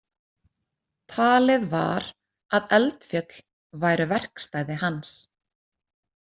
Talið var að eldfjöll væru verkstæði hans.